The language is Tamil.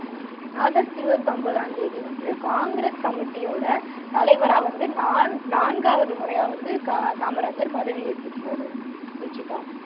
ஆகஸ்ட் இருபத்தொம்பதாம் தேதி வந்து காங்கிரஸ் கமிட்டியோட தலைவரா வந்து நான்காவது முறையா வந்து காமராஜர் பதவி ஏற்றுக்கிட்டார் ருஷிதா